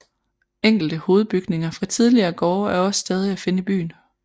Enkelte hovedbygninger fra tidligere gårde er også stadig at finde i byen